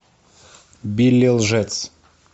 билли лжец